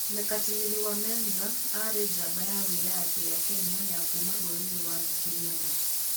Mekatilili wa Menza aarĩ njamba ya wĩyathi ya Kenya ya kuuma rũrĩrĩ rwa Giriama.